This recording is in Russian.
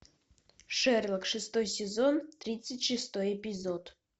шерлок шестой сезон тридцать шестой эпизод